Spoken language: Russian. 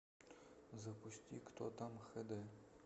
запусти кто там хд